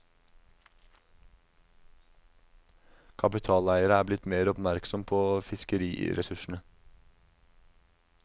Kapitaleiere er blitt mer oppmerksom på fiskeriressursene.